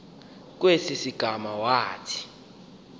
kwesi sigama wathi